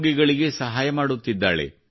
ರೋಗಿಗಳಿಗೆ ಸಹಾಯ ಮಾಡುತ್ತಿದ್ದಾಳೆ